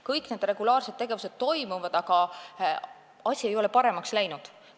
Kõik need regulaarsed tegevused toimuvad, aga asi ei ole paremaks läinud.